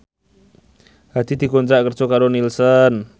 Hadi dikontrak kerja karo Nielsen